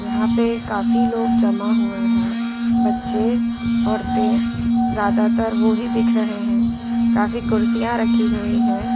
यहां पे काफी लोग जमा हुए हैं बच्चे औरतें ज्यादातर वो ही दिख रहे हैं काफी कुर्सियां रखी हुई है।